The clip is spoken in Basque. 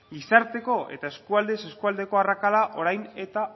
gizarteko eta eskualdez eskualdeko arrakala orain eta